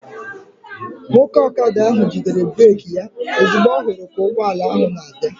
Nwoke ọkada ahụ jidere breeki ya ozugbo ọ hụrụ ka ụgbọala ahụ na-abịa